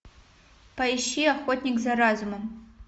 поищи охотник за разумом